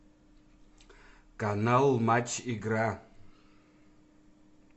канал матч игра